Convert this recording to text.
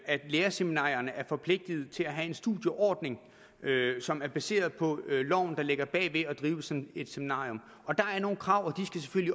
at lærerseminarierne er forpligtet til at have en studieordning som er baseret på loven der ligger bag ved at drive sådan et seminarium der er nogle krav